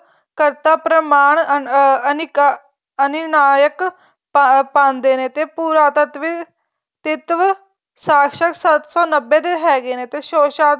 ਕਰਤਾ ਪਰਿਮਾਣ ਅਹ ਅਨਿਕਾ ਅਨੂੰਨਾਹਿਕ ਪਾਂਦੇ ਨੇ ਤੇ ਪੂਰਾਤੱਤਵ ਤਿੱਤਵ ਸਾਸ਼ਕ ਸੱਤ ਸੋ ਨੱਬੇ ਤੇ ਹੈਗੇ ਨੇ ਤੇ ਸ਼ੋਸ਼ਾਤ